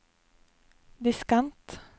diskant